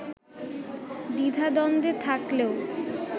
দ্বিধাদ্বন্দ্বে থাকলেও